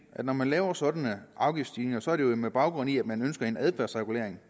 at når man laver sådanne afgiftsstigninger er det jo med baggrund i at man ønsker en adfærdsregulering